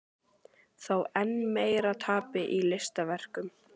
Þó enn meira tapi í listaverkum.